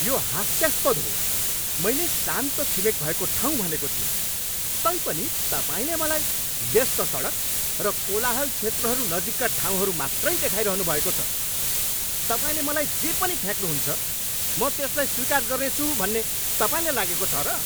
यो हास्यास्पद हो। मैले शान्त छिमेक भएको ठाउँ भनेको थिएँ, तैपनि तपाईँले मलाई व्यस्त सडक र कोलाहल क्षेत्रहरू नजिकका ठाउँहरू मात्रै देखाइरहनु भएको छ। तपाईँले मलाई जे पनि फ्याँक्नुहुन्छ म त्यसलाई स्वीकार गर्नेछु भन्ने तपाईँलाई लागेको छ र?